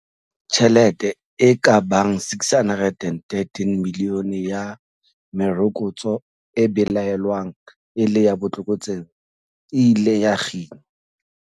Tjhelete e ka bang R613 milione ya merokotso e belaelwang e le ya botlokotsebe e ile ya kginwa.